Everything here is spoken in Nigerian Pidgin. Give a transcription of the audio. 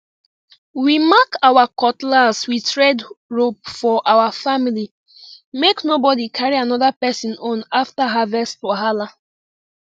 we mark our cutlass with red rope for our family make nobody carry another person own after harvest wahala